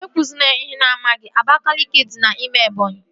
E kwụzina ihe ị na-amaghị! Abakaliki dị n'ime Ebọnyi